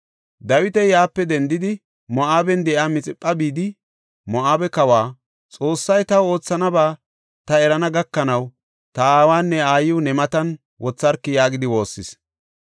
Dawiti yaape dendidi Moo7aben de7iya Mixipha bidi Moo7abe kawa, “Xoossay taw oothanaba ta erana gakanaw ta aawanne aayiw ne matan wotharki” yaagidi woossis.